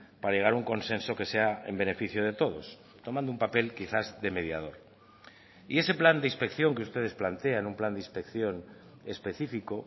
para llegar a un consenso que sea en beneficio de todos tomando un papel quizás de mediador y ese plan de inspección que ustedes plantean un plan de inspección específico